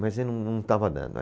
Mas aí não, não estava dando.